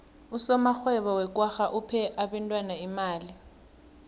usomarhwebo wekwagga uphe abentwana imali